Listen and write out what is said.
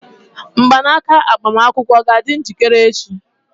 Mgbanaka agbamakwụkwọ a ga-adị njikere echi?